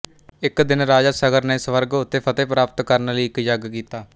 ਇੱਕ ਦਿਨ ਰਾਜਾ ਸਗਰ ਨੇ ਸਵਰਗ ਉੱਤੇ ਫਤਹਿ ਪ੍ਰਾਪਤ ਕਰਣ ਲਈ ਇੱਕ ਯੱਗ ਕੀਤਾ